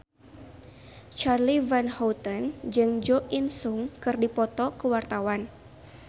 Charly Van Houten jeung Jo In Sung keur dipoto ku wartawan